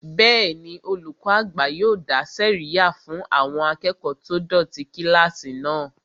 Bẹ́ẹ̀ni, olùkọ́ àgbà yóò dá sẹ̀ríyà fún àwọn akẹ́kọ̀ọ́ tó dọ̀tí kílásì náà